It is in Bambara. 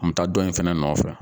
taa dɔ in fana nɔfɛ.